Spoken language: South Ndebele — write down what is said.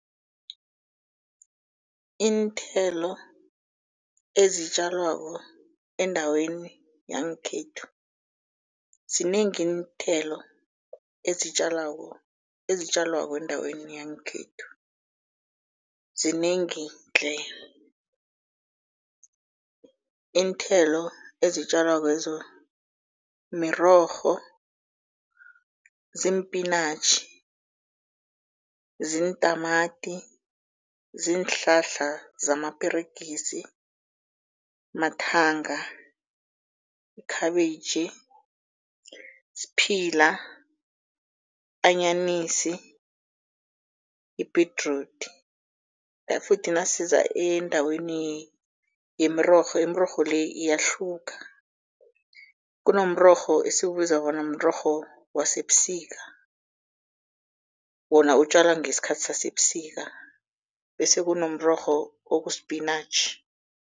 Iinthelo ezitjalwako endaweni yangekhethu, zinengi iinthelo ezitjalwako, ezitjalwako endaweni yangekhethu zinengi tle. Iinthelo ezitjalakwezo mirorho, ziimpinatjhi, ziintamati, ziinhlahla zamaperegisi, mathanga, ikhabitjhi, sphila, anyanisi, ibhedrudi. Futhi nasiza endaweni yemirorho, imirorho le iyahluka kunomrorho esiwubiza bona mrorho wasebusika, wona utjwala ngesikhathi sasebusika bese kunomrorho okuspinatjhi.